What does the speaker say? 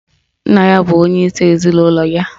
Nna ya bụ onyeisi ezinụlọ ya